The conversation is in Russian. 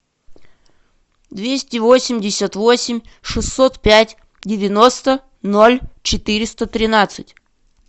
двести восемьдесят восемь шестьсот пять девяносто ноль четыреста тринадцать